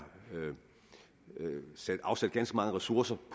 afsat ganske mange ressourcer